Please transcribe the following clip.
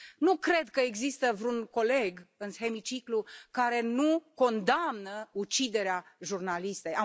Nu cred că există vreun coleg în hemiciclu care nu condamnă uciderea jurnalistei.